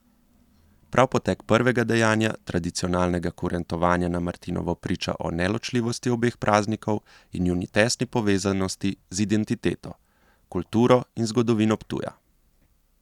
Prav potek prvega dejanja tradicionalnega kurentovanja na martinovo priča o neločljivosti obeh praznikov in njuni tesni povezanosti z identiteto, kulturo in zgodovino Ptuja.